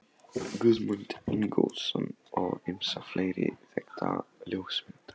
Guðmund Ingólfsson og ýmsa fleiri þekkta ljósmyndara.